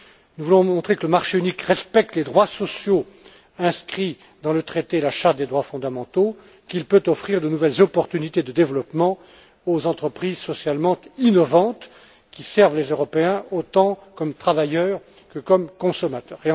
Nous voulons montrer que le marché unique respecte les droits sociaux inscrits dans la Charte des droits fondamentaux, qu'il peut offrir de nouvelles perspectives de développement aux entreprises socialement innovantes qui servent les Européens autant comme travailleurs que comme consommateurs.